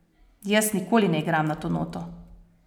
Jaz nikoli ne igram na to noto.